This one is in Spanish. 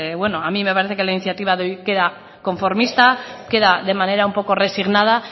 bueno a mí me parece que la iniciativa de hoy queda conformista queda de manera un poco resignada